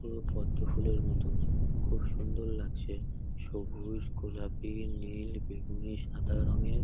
পুরো পদ্ম ফুলের মতন। খুব সুন্দর লাগছে সবুজ গোলাপি নীল বেগুনি সাদা রংয়ের --